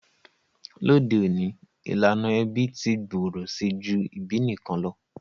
Lóde ọ̀ní, ìlànà ẹbí ti gbòrò si ju ìbí nikan lo.